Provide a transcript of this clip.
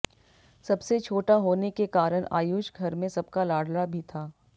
सबसे छोटा होने के कारण आयुष घर में सबका लाड़ला भी था